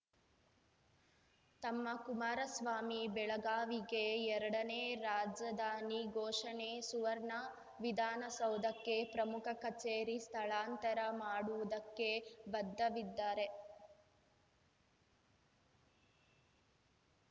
ತಮ್ಮ ಕುಮಾರಸ್ವಾಮಿ ಬೆಳಗಾವಿಗೆ ಎರಡನೇ ರಾಜಧಾನಿ ಘೋಷಣೆ ಸುವರ್ಣ ವಿಧಾನಸೌಧಕ್ಕೆ ಪ್ರಮುಖ ಕಚೇರಿ ಸ್ಥಳಾಂತರ ಮಾಡುವುದಕ್ಕೆ ಬದ್ಧವಿದ್ದಾರೆ